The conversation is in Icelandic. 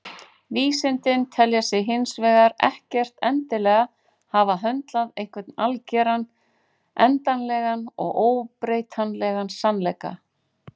Vísindin telja sig hins vegar ekkert endilega hafa höndlað einhvern algeran, endanlegan og óbreytanlegan sannleika.